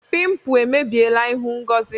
Pimpụ emebiela ịhụ Ngozi.